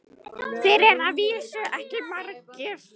Þeir eru að vísu ekki margir.